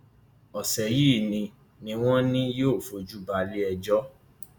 ọsẹ yìí ni ni wọn ní yóò fojú balẹẹjọ